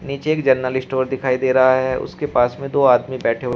नीचे एक general store दिखाई दे रहा है उसके पास में तो आदमी बैठे हुए--